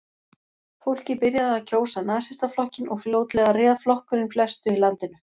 Fólkið byrjaði að kjósa Nasistaflokkinn og fljótlega réð flokkurinn flestu í landinu.